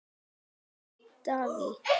Mamma mín var díva.